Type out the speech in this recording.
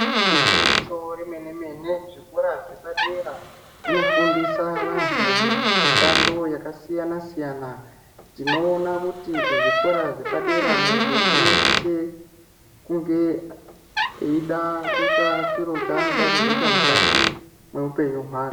Igwinyiso remene-mene zvikora zvepadera zvinofundisa vantu mishando yakasiyana -siyana. Tinoona kuti kuzvikora zvepadera muntu unosise kunge eida kuita chiro chanoda kuzoita mukati mweupenyu hwake.